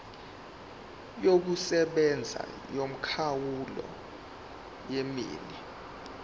yokusebenza yomkhawulo wenani